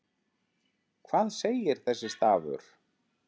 Hvað segir þessi stafur?